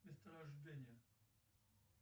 место рождения